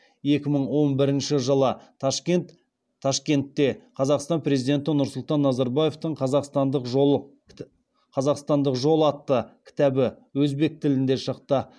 екі мың он бірінші жылы ташкентте қазақстан президенті нұрсұлтан назарбаевтың қазақстандық жол атты кітабы өзбек тілінде шықты